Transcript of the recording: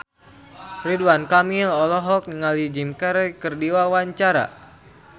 Ridwan Kamil olohok ningali Jim Carey keur diwawancara